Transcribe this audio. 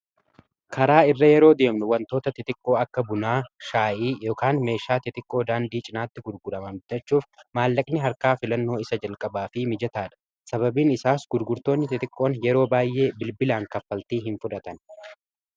karaa irra yeroo deemnu wantoota tixiqqoo akka bunaa shaa'ii meeshaa tixiqqoo daandii cinaatti gurguramamtachuuf maallaqni harkaa filannoo isa jalqabaa fi mijetaa dha sababiin isaas gurgurtoonni tixiqqoon yeroo baay'ee bilbilaan kaffaltii hin fudhatan